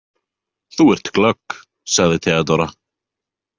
Þú ert glögg, sagði Theodóra.